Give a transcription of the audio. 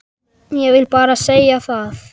Ég vil bara segja það.